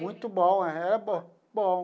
Muito bom, era bom bom.